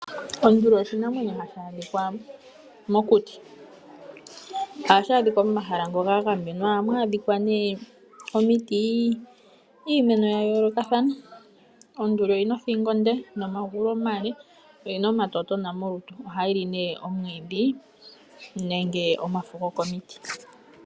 Onduli oshinamwenyo hashi adhika mokuti, ohashi adhikwa momahala ngoka gagamenwa ohamu adhikwa ne omiti , iimeno yayoloka thana. Onduli oyina othingo onde nomagulu omale, oyina omatotona molutu ohayi li ne omwidhi nenge omafo goko miti.